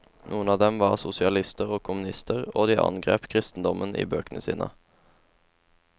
Noen av dem var sosialister og kommunister, og de angrep kristendommen i bøkene sine.